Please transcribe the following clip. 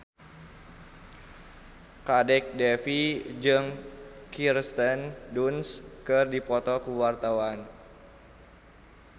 Kadek Devi jeung Kirsten Dunst keur dipoto ku wartawan